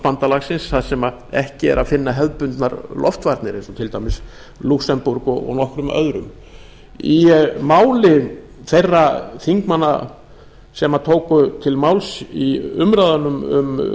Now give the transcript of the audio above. atlantshafsbandalagsins þar sem ekki er að finna hefðbundnar loftvarnir eins og til dæmis lúxemborg og nokkrum öðrum í máli þeirra þingmanna sem tóku til máls í umræðunum um